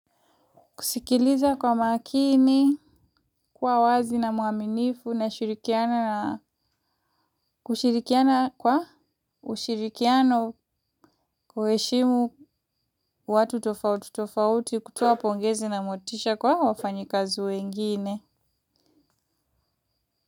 Kusikiliza kwa makini, kwa wazi na mwaminifu na kushirikiana kwa ushirikiano kuheshimu watu tofautu tofauti, kutoa pongezi na motisha kwa wafanyakazi wengine.